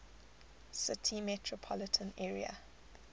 city metropolitan area